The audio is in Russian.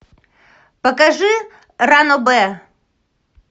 покажи ранобэ